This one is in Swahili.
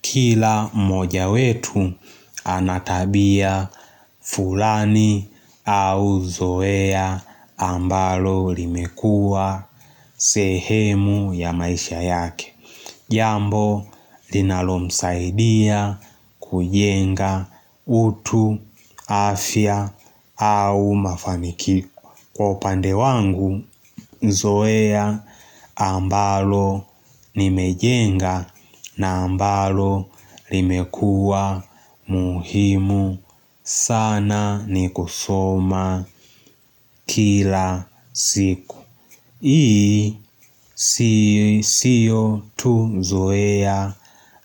Kila moja wetu anatabia fulani au zoea ambalo limekua sehemu ya maisha yake. Jambo linalo msaidia kujenga utu afya au mafamikiku. Kwa upande wangu, zoea ambalo ni mejenga na ambalo limekua muhimu sana ni kusoma kila siku. Hii siyo tu zoea.